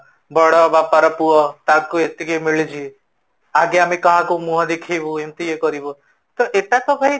ବଡ଼ ବାପାର ପୁଅ ତାକୁ ଏତିକି ମିଳିଛି, ଆଗେ ଆମେ କାହାକୁ ମୁହଁ ଦେଖେଇବୁ ଏମିତି କରିବୁ ତ ଏଟା ତ ଭାଇ